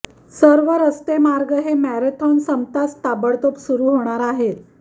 सर्व रस्तेमार्ग हे मॅरेथॉन संपताच ताबडतोब सुरू होणार आहेत